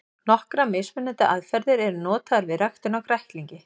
Nokkrar mismunandi aðferðir eru notaðar við ræktun á kræklingi.